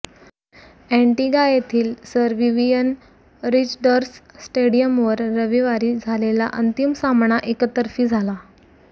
Antigua येथील sir Vivian Richards स्टेडियमवर रविवारी झालेला अंतिम सामना एकतर्फी झाला